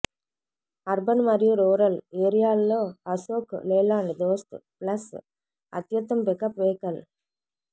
urban మరియు rural ఏరియాల్లో Ashok Leyland Dost plus అత్యుత్తమ పికప్ వెహికల్